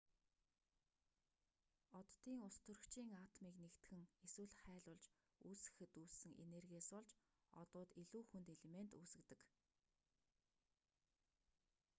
оддын устөрөгчийн атомыг нэгтгэн эсвэл хайлуулж үүсгэхэд үүссэн энергиээс болж одууд илүү хүнд элемент үүсгэдэг